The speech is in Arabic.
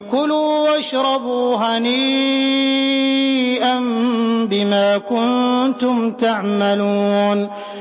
كُلُوا وَاشْرَبُوا هَنِيئًا بِمَا كُنتُمْ تَعْمَلُونَ